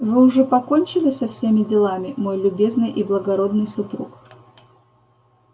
вы уже покончили со всеми делами мой любезный и благородный супруг